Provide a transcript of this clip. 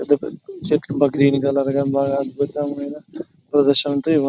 చెట్లు green colour లోని బాగా అద్భుతంగా ప్రదర్శన --